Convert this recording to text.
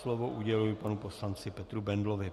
Slovo uděluji panu poslanci Petru Bendlovi.